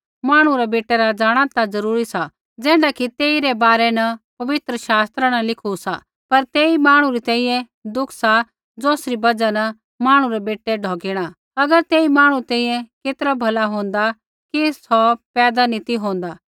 मांहणु रै बेटै रा जाँणा ता ज़रूरी सा ज़ैण्ढा कि तेइरै बारै पवित्र शास्त्र न लिखू सा पर तेई मांहणु री तैंईंयैं दुःख सा ज़ौसरी बजहा न मांहणु रै बेटै ढौकिणा अगर तेई मांहणु री तैंईंयैं केतरा भला होंदा कि सौ पैदा नी ती होंदा